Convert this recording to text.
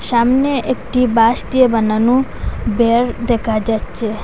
সামনে একটি বাঁশ দিয়ে বানানো বেড় দেখা যাচ্ছে।